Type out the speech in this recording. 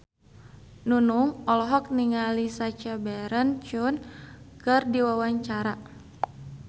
Nunung olohok ningali Sacha Baron Cohen keur diwawancara